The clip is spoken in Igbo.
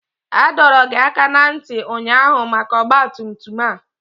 A dọrọ gị aka ná ntị ụnyaahụ maka ọgba tum tum a!